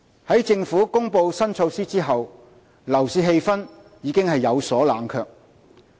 在政府公布新措施後，樓市氣氛已有所冷卻。